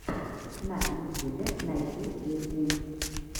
на ютюбе найти песни